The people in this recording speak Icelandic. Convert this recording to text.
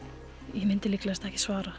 ég myndi líklegast ekki svara